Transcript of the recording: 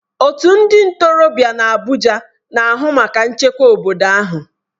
Otu ndị ntorobịa nọ n'Abuja na-ahụ maka nchekwa obodo ahụ.